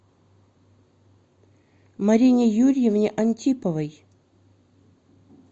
марине юрьевне антиповой